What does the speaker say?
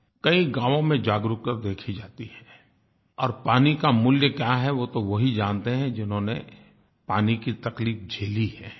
कई गाँवों में जागरूकता देखी जाती है और पानी का मूल्य क्या है वो तो वही जानते हैं जिन्होनें पानी की तकलीफ़ झेली है